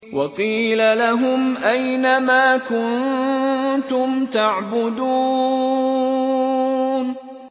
وَقِيلَ لَهُمْ أَيْنَ مَا كُنتُمْ تَعْبُدُونَ